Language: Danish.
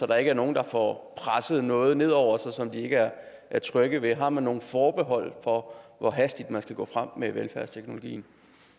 der ikke er nogen der får presset noget ned over sig som de ikke er trygge ved har man nogen forbehold for hvor hastigt man skal gå frem med velfærdsteknologien